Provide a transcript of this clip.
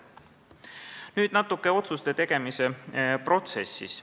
Nüüd natuke otsuste tegemise protsessist.